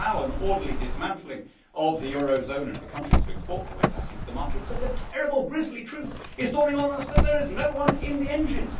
You could allow an orderly dismantling of the eurozone and countries to export their way back into the market, but the terrible grisly truth is dawning on us is that there is no one in the engine.